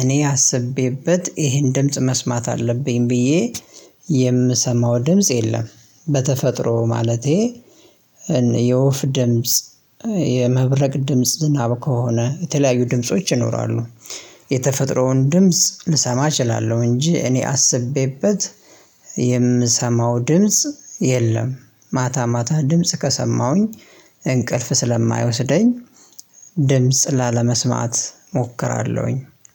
እኔ አስቤበት ይሄን ድምጽ መስማት አለብኝ ብዬ የምሰማው ድምጽ የለም በተፈጥሮ ማለቴ የወፍ ድምጽ የመብረቅ ድምጽ ዝናብ ከሆነ የተለያዩ ድምጾች ይኖራሉ። የተፈጥሮውን ድምጽ ልሰማ እችላለሁ እንጅ እኔ አስቤበት የምሰማው ድምጽ የለም። ማታ ማታ ድምጽ ከሰማሁኝ እንቅልፍ ስለማይወስደኝ ድምጽ ላለመስማት እሞክራለሁኝ።